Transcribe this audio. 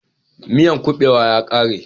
Miyan kubewan ya kare